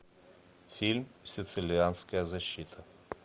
фильм сицилианская защита